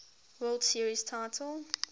world series titles